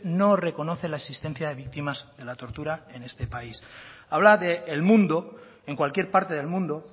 no reconoce la existencia de víctimas de la tortura en este país habla del mundo en cualquier parte del mundo